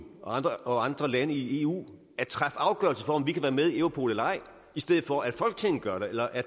og andre lande i eu at træffe afgørelse om om vi kan være med i europol eller ej i stedet for at folketinget gør det eller at